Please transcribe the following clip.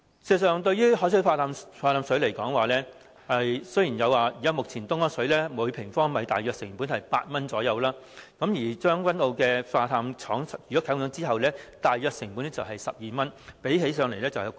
事實上，以海水化淡方式生產食水而言，目前東江水每立方米大約成本為8元，而將軍澳海水化淡廠啟用後，每立方米大約成本為12元，較東江水昂貴。